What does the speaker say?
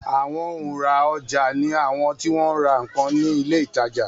Àwọn òhun ra ọja ni awọn ti wọn ra nkan ni ile ìtajà